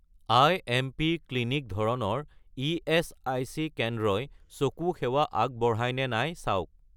IMP. Clinic ধৰণৰ ইএচআইচি কেন্দ্ৰই চকু সেৱা আগবঢ়ায় নে নাই চাওক